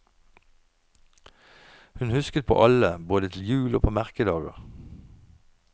Hun husket på alle både til jul og på merkedager.